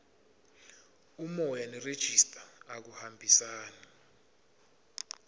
umoya nerejista akuhambisani